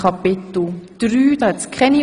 Keine Aufhebungen